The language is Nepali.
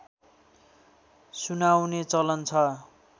सुनाउने चलन छ